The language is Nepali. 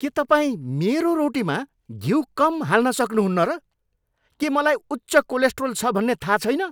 के तपाईँ मेरो रोटीमा घिउ कम हाल्न सक्नुहुन्न र? के मलाई उच्च कोलेस्ट्रोल छ भन्ने थाहा छैन?